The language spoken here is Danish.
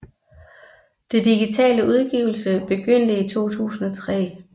Den digitale udgivelse begyndte i 2003